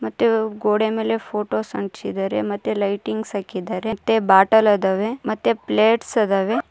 ಮತ್ತೆ ಗೋಡೆ ಮೇಲೆ ಫೋಟೋಸ್ ಅಂಟಿಸಿದ್ದಾರೆ ಮತ್ತೆ ಲೈಟಿಂಗ್ಸ್ ಹಾಕಿದ್ದಾರೆ ಮತ್ತೆ ಬಾಟಲ್ ಅದಾವೆ ಮತ್ತೆ ಪ್ಲೇಟ್ಸ್ ಅದವೆ.